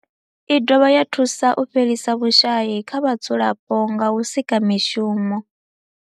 I dovha ya thusa u fhelisa vhushayi kha vhadzulapo nga u sika mishumo.